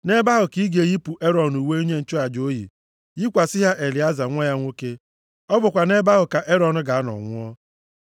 Nʼebe ahụ ka ị ga-eyipụ Erọn uwe onye nchụaja o yi, yikwasị ha Elieza nwa ya nwoke. Ọ bụkwa nʼebe ahụ ka Erọn ga-anọ nwụọ.”